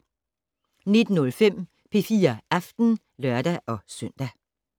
19:05: P4 Aften (lør-søn)